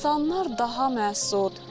İnsanlar daha məsud.